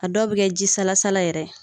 A dɔw bi kɛ jisalasala yɛrɛ ye